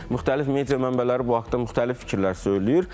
Müxtəlif media mənbələri bu haqda müxtəlif fikirlər söyləyir.